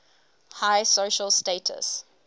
high social status